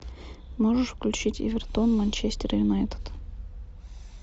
можешь включить эвертон манчестер юнайтед